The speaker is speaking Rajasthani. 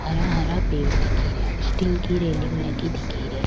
हरा हरा पेड़ दिख रिया स्टील की रेलिंग लगी दिख री।